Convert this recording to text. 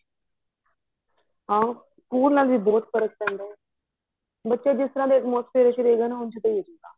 ਹਾਂ ਉਹਨਾਂ ਦਾ ਵੀ ਬਹੁਤ ਫਰਕ ਪੈਂਦਾ ਹੈ ਬਚੇ ਜਿਸ ਤਰ੍ਹਾਂ ਦੇ atmosphere ਚ ਹੁੰਦੇ ਨੇ ਉਸ ਤੇਹਾਂ ਦਾ ਹੀ ਹੋ ਜਾਏਗਾ